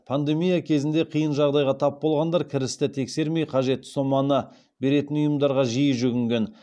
пандемия кезінде қиын жағдайға тап болғандар кірісті тексермей қажетті соманы беретін ұйымдарға жиі жүгінген